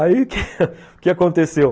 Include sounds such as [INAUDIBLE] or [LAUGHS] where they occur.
[LAUGHS] Aí, o que aconteceu?